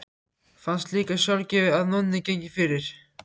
Fannst líka sjálfgefið að Nonni gengi fyrir.